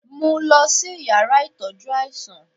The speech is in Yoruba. mú lọ si ìyára itọjú aisan!